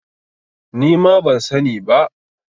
Nima ban sa ni ba